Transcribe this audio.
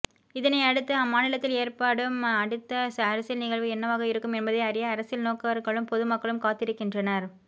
இதனை அடுத்து அம்மாநிலத்தில் ஏற்படும் அடுத்த அரசியல் நிகழ்வு என்னவாக இருக்கும் என்பதை அறிய அரசியல் நோக்கர்களும் பொதுமக்களும் காத்திருக்கின்றனர்